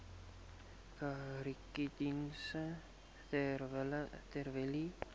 kankerdienste ter wille